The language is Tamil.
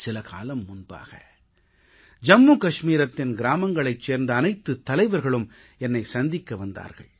சில காலம் முன்பாக ஜம்மு கஷ்மீரத்தின் கிராமங்களைச் சேர்ந்த அனைத்துத் தலைவர்களும் என்னைச் சந்திக்க வந்திருந்தார்கள்